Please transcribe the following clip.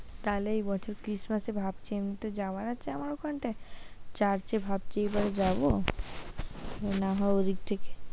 তাহলে এই বছর christmass ই ভাবছি আমি একটু যাওয়ার আছে আমার ওখানটায় চার্চে ভাবছি এবার যাব, না হয় ওদিক থেকে।